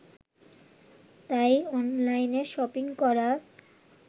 তাই অনলাইনে শপিং করা